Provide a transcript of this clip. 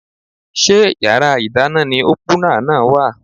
Ṣé yàrá ìdáná ni ópúnà náà wà?